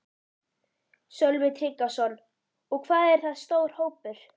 Sölvi Tryggvason: Og hvað er það stór hópur?